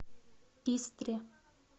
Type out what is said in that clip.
истре